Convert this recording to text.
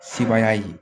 Sebaaya ye